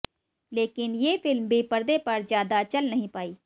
लेकिन ये फिल्म भी पर्दे पर ज्यादा चल नहीं पाई